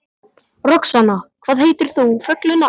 Roxanna, hvað heitir þú fullu nafni?